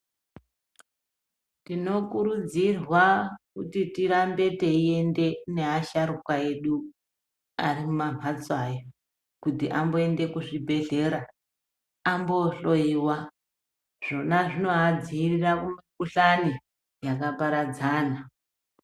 Tinokurudzirwa kuti tirambe teiende neasharuka edu arimumamhatso aya kuti amboende kuzvibhehleya ambohloyiwa zvona zvinoadzirira kumikhuhlani yakaparadzana.